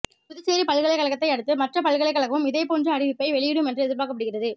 புதுச்சேரி பல்கலைக்கழகத்தை அடுத்து மற்ற பல்கலைக்கழகமும் இதேபோன்ற அறிவிப்பை வெளியிடும் என்று எதிர்பார்க்கப்படுகிறது